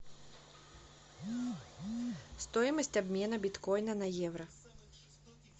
стоимость обмена биткоина на евро